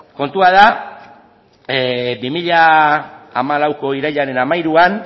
kontua da bi mila hamalauko irailaren hamairuan